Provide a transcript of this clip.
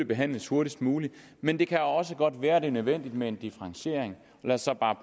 behandles hurtigst muligt men det kan også godt være at det er nødvendigt med en differentiering lad os så bare